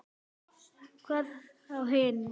Hvað þá hinn.